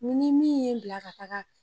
U ni min ye n bila ka taga